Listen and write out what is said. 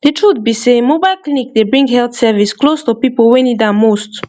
the truth be sey mobile clinic dey bring health service close to people wey need am most